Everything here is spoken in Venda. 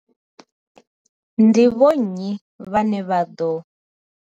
Ndi vho nnyi vhane vha ḓo.